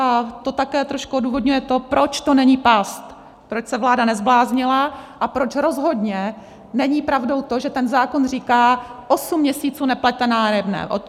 A to také trošku odůvodňuje to, proč to není past, proč se vláda nezbláznila a proč rozhodně není pravdou to, že ten zákon říká: osm měsíců neplaťte nájemné.